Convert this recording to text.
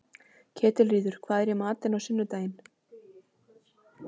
Ketilríður, hvað er í matinn á sunnudaginn?